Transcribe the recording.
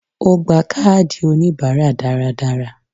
Ó gba káàdì oníbáárà dáradára